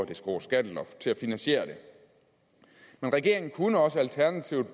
det skrå skatteloft til at finansiere det men regeringen kunne også alternativt